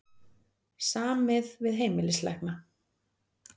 Samið við heimilislækna